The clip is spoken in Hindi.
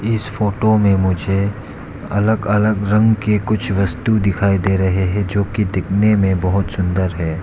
इस फोटो में मुझे अलग अलग रंग के कुछ वस्तु दिखाई दे रहे हैं जो की दिखने में बहोत सुंदर हैं।